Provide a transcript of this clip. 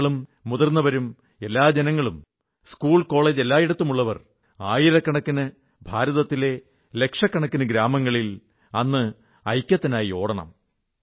കുട്ടികളും വൃദ്ധരും എല്ലാ ജനങ്ങളും സ്കൂൾ കോളജ് എല്ലായിടത്തുമുള്ളവർ ആയിരക്കണക്കിന് ഭാരതത്തിലെ ലക്ഷക്കണക്കിന് ഗ്രാമങ്ങളിൽ അന്ന് ഐക്യത്തിനായി ഓടണം